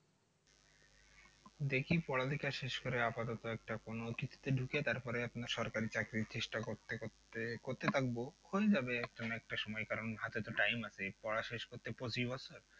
দেখি পড়ালেখা শেষ করে আপাতত একটা কোনো কিছুতে ঢুকে তারপরে আপনার সরকারি চাকরির চেষ্টা করতে করতে, করতে থাকবো হয়ে যাবে একটা না একটা সময় কারণ হাতে তো time আছে পড়া শেষ করতে পঁচিশ বছর